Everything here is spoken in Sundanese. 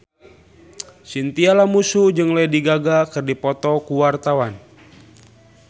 Chintya Lamusu jeung Lady Gaga keur dipoto ku wartawan